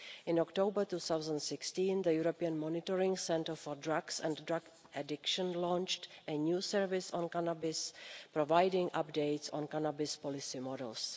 In October 2016, the European Monitoring Centre for Drugs and Drug Addiction launched a new service on cannabis, providing updates on cannabis policy models.